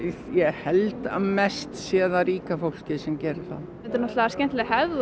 ég held að mest sé það ríka fólkið sem gerir það þetta er skemmtileg hefð og